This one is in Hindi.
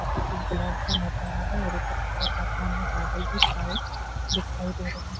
लगा रहा है ऊपर के तरफ समन में बदल भी छाए दिखाई दे रहे है।